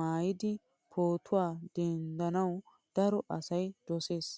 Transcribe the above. maayidi pootuwaa denddanawu daro asay dosees.